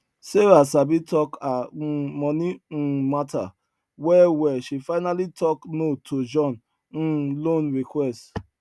sarah sabi talk her um money um matter well well she finally talk no to john um loan request